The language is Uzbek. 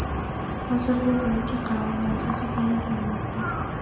Hozir bu bo‘yicha qaror loyihasi tayyorlanmoqda.